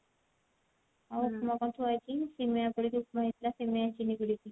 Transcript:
ଆଉ ଉପମା ଟା ଥୁଆ ହେଇଛି ସିମେଇ ପରେ ଯଉ ଉପମା ଟା ହେଇଥିଲା ସିମେଇ ପଡିକି